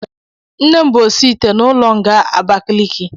Nnem bu osi ite n'ulo nga Abakaliki